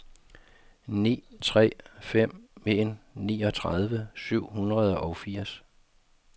ni tre fem en niogtredive syv hundrede og firs